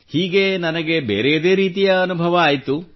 ಹೀಗೆ ನನಗೆ ಬೇರೆಯದೇ ರೀತಿಯ ಅನುಭವವಾಯಿತು